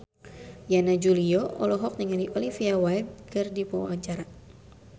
Yana Julio olohok ningali Olivia Wilde keur diwawancara